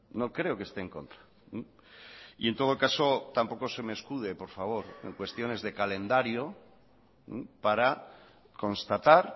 no creo que esté en contra y en todo caso tampoco se me escude por favor en cuestiones de calendario para constatar